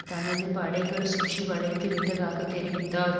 தனது படைகள் சுற்றி வளைத்து விட்டதாக தெரிவித்தார்